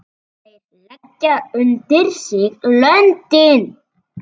Þeir leggja undir sig löndin!